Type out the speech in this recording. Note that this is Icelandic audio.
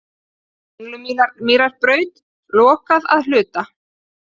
Kringlumýrarbraut lokað að hluta